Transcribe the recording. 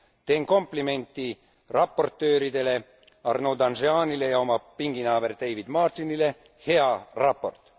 Teen komplimendi raportööridele Arnaud Danjean'ile ja oma pinginaaber David Martinile hea raport!